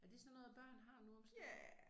Er det sådan noget børn har nu om stunder